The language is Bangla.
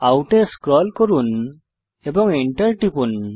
আউট এ স্ক্রল করুন এবং Enter টিপুন